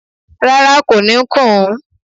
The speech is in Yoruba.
Rárá, kò ní kùn ún